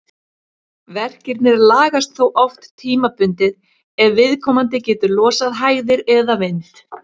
Verkirnir lagast þó oft tímabundið ef viðkomandi getur losað hægðir eða vind.